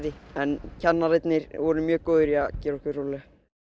en kennararnir voru mjög góðir í að gera okkur róleg